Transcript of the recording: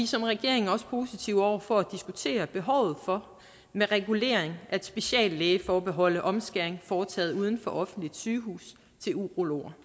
som regering også positive over for at diskutere behovet for med regulering at speciallægeforbeholde omskæring foretaget uden for offentligt sygehus til urologer